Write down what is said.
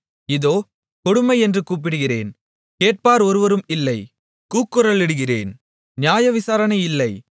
இதோ கொடுமை என்று கூப்பிடுகிறேன் கேட்பார் ஒருவரும் இல்லை கூக்குரலிடுகிறேன் நியாயவிசாரணை இல்லை